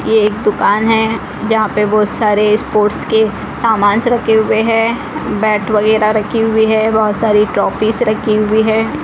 ये एक दुकान है जहां पे बहुत सारे स्पोर्ट्स के सामान रखे हुए हैं बैट वगैरह रखे हुई हैं बहुत सारी ट्रॉफीज रखी हुई है।